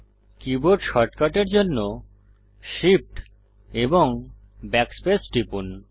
keyboard শর্টকাটের জন্য shift এবং backspace টিপুন